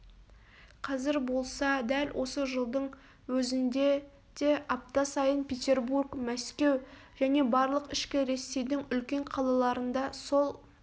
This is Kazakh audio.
қазір болса дәл осы жылдың өзінде де апта сайын петербург мәскеу және барлық ішкі ресейдің үлкен қалаларында сол